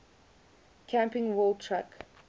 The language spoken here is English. camping world truck